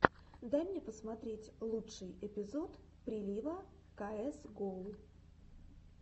дай мне посмотреть лучший эпизод прилива каэс гоу